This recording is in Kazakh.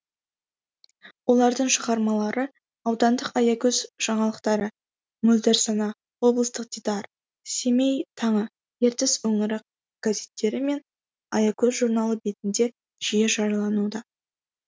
олардың шығармалары аудандық аягөз жаңалықтары мөлдір сана облыстық дидар семей таңы ертіс өңірі газеттері мен аягөз журналы бетінде жиі жариялануда